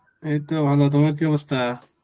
এইতো ভালো তোমার কি অবস্থা?